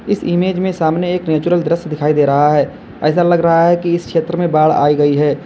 इस इमेज में सामने एक नेचुरल दृश्य दिखाई दे रहा है ऐसा लग रहा है कि इस क्षेत्र में बाढ़ आई गई है।